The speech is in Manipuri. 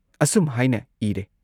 ꯑꯁꯨꯝ ꯍꯥꯏꯅ ꯏꯔꯦ ꯫